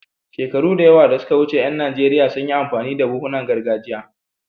Shekaru da yawa da suka wuce, ƴan Najeriya sun yi amfani da buhunan gargajiya.